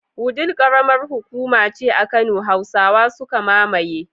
Wudil karamar hukuma ce a kano. Hausawa suka mamaye